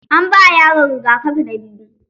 An ba yaron rigakafi na biyu.